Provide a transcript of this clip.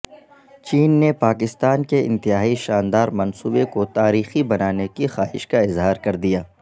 چین نے پاکستان کے انتہائی شاندار منصوبے کو تاریخی بنانے کی خواہش کااظہارکردیا